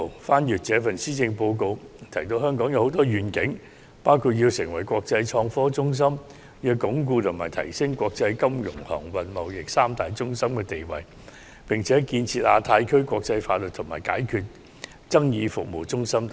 細閱今年的施政報告，香港的願景很多，包括要成為國際創科中心、鞏固及提升國際金融、航運、貿易三大中心的地位，並且建設成為亞太區的國際法律及解決爭議服務中心等。